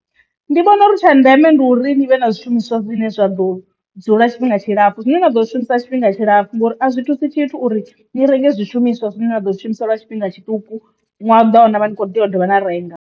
Ndi vhona uri tsha ndeme ndi uri ni vhe na zwishumiswa zwine zwa ḓo dzula tshifhinga tshilapfhu zwine na ḓo zwi shumisa tshifhinga tshilapfu ngori a zwi thusi tshithu uri ni renge zwishumiswa zwine na ḓo zwi shumisa lwa tshifhinga tshiṱuku nwaha u ḓaho navha ni tshi kho ḓi tea u dovha na renga.